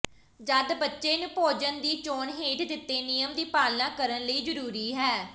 ਜਦ ਬੱਚੇ ਨੂੰ ਭੋਜਨ ਦੀ ਚੋਣ ਹੇਠ ਦਿੱਤੇ ਨਿਯਮ ਦੀ ਪਾਲਣਾ ਕਰਨ ਲਈ ਜ਼ਰੂਰੀ ਹੈ